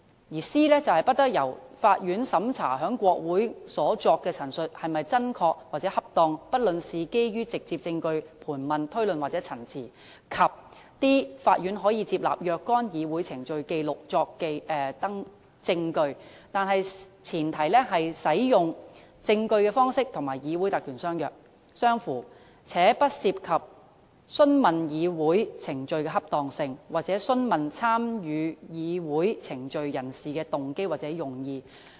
第 c 段指出"不得由法院審查在國會所作的陳述是否真確或恰當，不論是基於直接證據、盤問、推論或陳詞"；及第 d 段"法院可接納若干議會程序紀錄作證據，但前提是使用證據的方式與議會特權相符，且不涉及訊問議會程序的恰當性，或訊問參與議會程序的人士的動機或用意"。